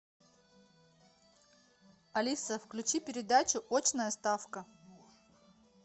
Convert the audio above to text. алиса включи передачу очная ставка